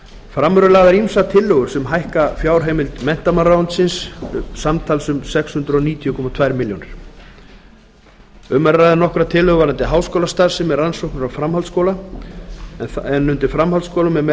fram eru lagðar ýmsar tillögur sem hækka fjárheimild menntamálaráðuneytis samtals um sex hundruð níutíu komma tveimur milljónum króna nokkrar tillögur varða háskólastarfsemi rannsóknir og framhaldsskóla en þar er